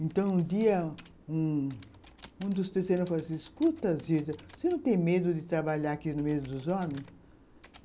Então, um dia, um dos terceiros me falou assim, escuta, Zilda, você não tem medo de trabalhar aqui no meio dos homens?